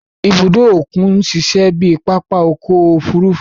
Ìbùdó okùn n ṣiṣẹ bíi papa ọkọ ofurufu